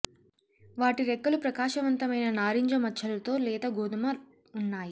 వాటి రెక్కలు ప్రకాశవంతమైన నారింజ మచ్చలు తో లేత గోధుమ ఉన్నాయి